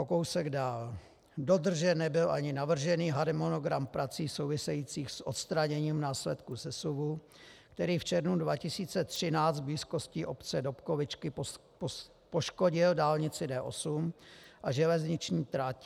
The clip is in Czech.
O kousek dál: Dodržen nebyl ani navržený harmonogram prací souvisejících s odstraněním následků sesuvů, který v červnu 2013 v blízkosti obce Dobkovičky poškodil dálnici D8 a železniční trať.